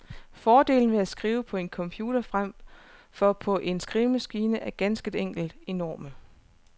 Fordelene ved at skrive på en computer fremfor på en skrivemaskine er ganske enkelt enorme.